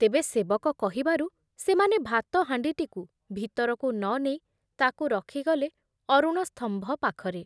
ତେବେ ସେବକ କହିବାରୁ ସେମାନେ ଭାତହାଣ୍ଡିଟିକୁ ଭିତରକୁ ନ ନେଇ ତାକୁ ରଖିଗଲେ ଅରୁଣସ୍ତମ୍ଭ ପାଖରେ ।